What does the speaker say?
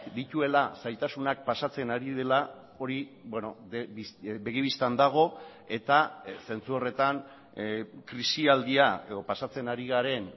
dituela zailtasunak pasatzen ari dela hori begi bistan dago eta zentzu horretan krisialdia edo pasatzen ari garen